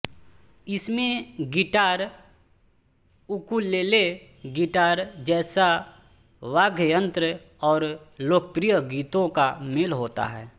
इसमें guitar ukulele guitar जैसा वाद्य यंत्र और लोकप्रिय गीतों का मेल होता है